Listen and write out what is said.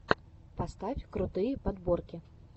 поставь крутые подборки